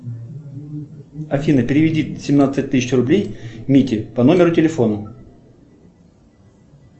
афина переведи семнадцать тысяч рублей мите по номеру телефона